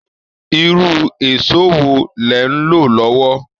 Irú èsó wo lẹ̀ ń lò lọ́wọ́